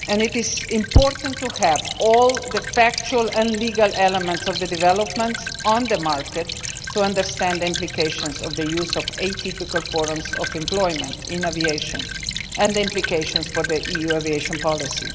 It is important to have all the factual and legal elements of the developments on the market to understand the implications of the use of atypical forms of employment in aviation and the implications for the EU aviation policy.